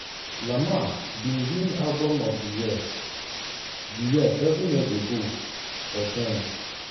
lamar bin win album of di year di year seven years ago for damn.